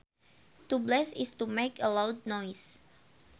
To blast is to make a loud noise